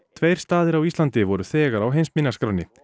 tveir staðir á Íslandi voru þegar á heimsminjaskránni